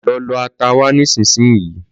Lọ lọ ata wá nísinsìnyí